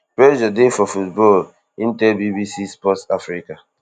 pressure dey for football im tell bbc sport africa